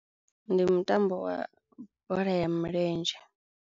Ndi mutambo wa bola ya milenzhe.